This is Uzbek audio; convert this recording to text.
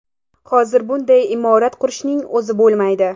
Hozir bunday imorat qurishning o‘zi bo‘lmaydi.